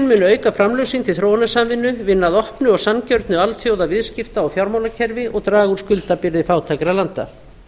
munu auka framlög sín til þróunarsamvinnu vinna að opnu og sanngjörnu alþjóðaviðskipta og fjármálakerfi og draga úr skuldabyrði fátækra landa